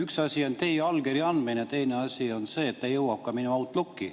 Üks asi on teie allkirja andmine, teine asi on see, et ta jõuab ka minu Outlooki.